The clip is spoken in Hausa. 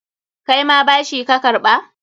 Kaima bashi ka karɓa?